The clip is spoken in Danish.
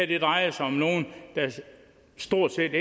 her drejer sig stort set